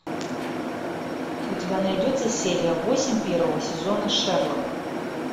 у тебя найдется серия восемь первого сезона шерлок